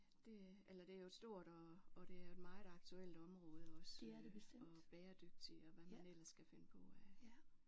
Det eller det er jo et stort og og det er et meget aktuelt område også øh og bæredygtig og hvad man ellers kan finde på af